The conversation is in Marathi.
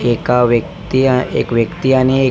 एका व्यक्ति एक व्यक्ति आणि एक --